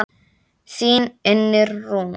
Þín Unnur Rún.